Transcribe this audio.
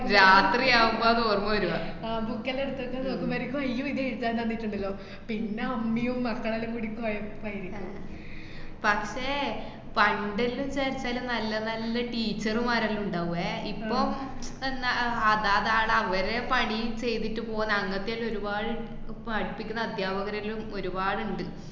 പക്ഷേ പണ്ട്ല്ലോ സെച്ചാലും നല്ല നല്ല teacher മാരെല്ലാ ഉണ്ടാവേ, ഇപ്പൊ ന്ന~ ആഹ് അതാ ദാ ലവര് പണീം ചെയ്തിട്ട് പോണ അങ്ങനത്തെല്ലാ ഒരുപാട് പഠിപ്പിക്കണ അധ്യാപകര്ല്ലോം ഒരുപാട്ണ്ട്.